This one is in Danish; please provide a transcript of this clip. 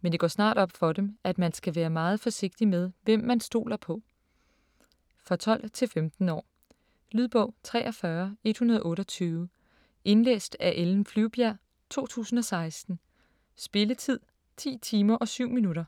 men det går snart op for dem, at man skal være meget forsigtig med, hvem man stoler på. For 12-15 år. Lydbog 43128 Indlæst af Ellen Flyvbjerg, 2016. Spilletid: 10 timer, 7 minutter.